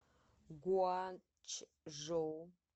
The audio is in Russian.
гуанчжоу